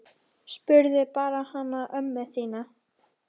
Spurðu bara hana ömmu þína!